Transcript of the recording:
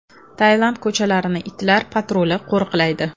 Tailand ko‘chalarini itlar patruli qo‘riqlaydi.